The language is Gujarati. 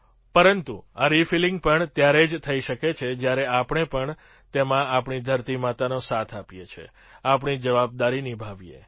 પરંતુ આ રિફિલિંગ પણ ત્યારે જ થઈ શકે છે જ્યારે આપણે પણ તેમાં આપણી ધરતીમાનો સાથ આપીએ આપણી જવાબદારી નિભાવીએ